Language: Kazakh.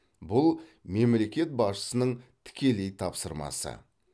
бұл мемлекет басшысының тікелей тапсырмасы